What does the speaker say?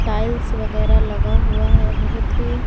tiles वगैरा लगा हुआ है बहुत ही--